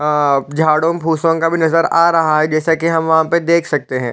अ झरो फूसो का नजर आ रहा है जैसे की हम वहा देख सकते है ।